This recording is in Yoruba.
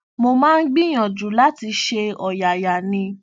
mo máa ń gbìyànjú láti ṣe ọyàyà ní